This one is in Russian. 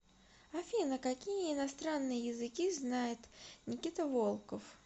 афина какие иностранные языки знает никита волков